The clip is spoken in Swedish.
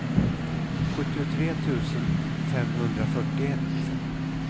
sjuttiotre tusen femhundrafyrtioett